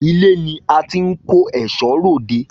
Ilé ni a ti ń kó ẹ̀ṣọ́ r'òde